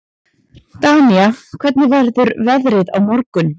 Danía, hvernig verður veðrið á morgun?